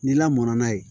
Ni lamɔn na ye